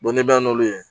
ni bɛɛ bɛ n'olu ye